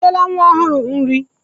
Ị nyela nwa ọhụrụ nri?